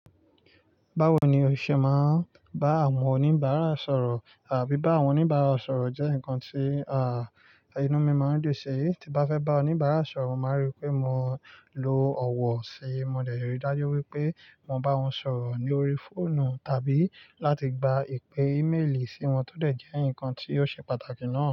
Báwo ni o ṣe máa ń bá àwọn oníbàárà sọ̀rọ̀ àbí bá àwọn oníbàárà sọ̀rọ̀ jẹ́ ǹkan tí, à, inú mi máa ń dùn ṣi i. Tí bá fẹ́ bá oníbàárà sọ̀rọ̀, màá rí pé mo lo ọ̀wọ̀ ṣe. Mo dẹ̀ yé rì dájú wípé mo bá wọn sọ̀rọ̀ ní orí fóònù tàbí láti gba ìpè ímélì sí wọn tọ dẹ̀ jẹ́ ǹkan tí ó ṣe pàtàkì ná.